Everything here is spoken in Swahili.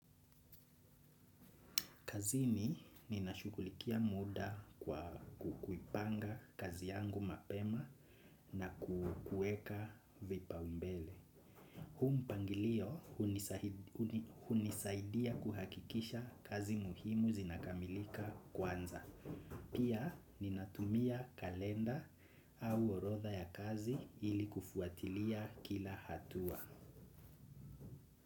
Kazini ninashughulikia muda kwa kuipanga kazi yangu mapema na kuweka vipaumbele. Huu mpangilio hunisaidia kuhakikisha kazi muhimu zinakamilika kwanza. Pia ninatumia kalenda au orodha ya kazi ili kufuatilia kila hatua.